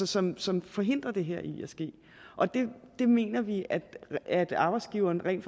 som som forhindrer det her i at ske det mener vi at at arbejdsgiveren rent